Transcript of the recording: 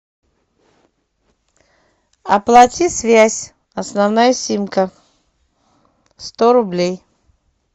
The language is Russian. оплати связь основная симка сто рублей